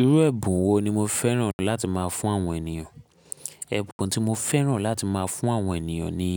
Irú ẹ̀bùn wo ni mo fẹ́ràn láti máa fún àwọn ènìyàn? Ẹ̀bùn tí mo fẹ́ràn láti máa fún àwọn ènìyàn ni